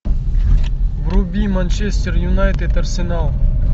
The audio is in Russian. вруби манчестер юнайтед арсенал